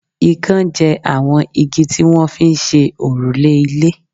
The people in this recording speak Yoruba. ìkan jẹ àwọn igi tí wọ́n fi ń ṣe òrùlé ilé